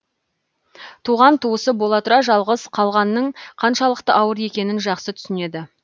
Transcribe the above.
туған туысы бола тұра жалғыз қалғанның қаншалықты ауыр екенін жақсы түсінеді